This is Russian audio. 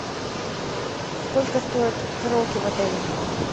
сколько стоит караоке в отеле